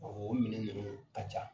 Ɔɔ o minɛn yɛrɛ ka ca.